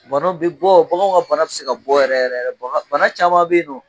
Banaw bi bɔ baganw ka banaw bi se ka bɔ yɛrɛ bana caman be yen non